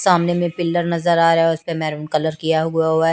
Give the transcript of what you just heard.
सामने में पिलर नज़र आरहा है उसके ऊपर मेहरून कलर किया हुआ है।